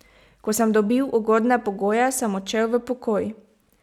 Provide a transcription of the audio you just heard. Ko sem dobil ugodne pogoje, sem odšel v pokoj.